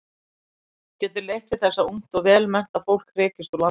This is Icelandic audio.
Getur leitt til þess að ungt vel menntað fólk hrekist úr landi.